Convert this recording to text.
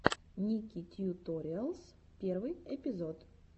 ники тьюториалс первый эпизод